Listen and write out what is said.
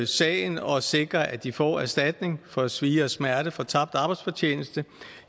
sagen og sikre at de får erstatning for svie og smerte og for tabt arbejdsfortjeneste